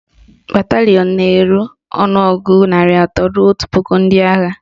Batalịọn na-eru ọnụọgụgụ narị atọ ruo otu puku ndị agha